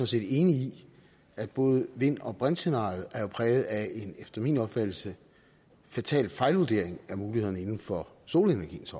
set enig i at både vind og brintscenariet jo er præget af en efter min opfattelse fatal fejlvurdering af mulighederne inden for solenergiens